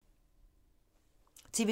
TV 2